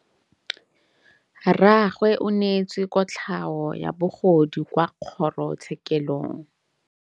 Rragwe o neetswe kotlhaô ya bogodu kwa kgoro tshêkêlông.